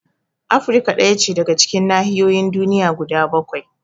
Afrika ɗaya ce daga cikin nahiyoyin duniya guda bakwai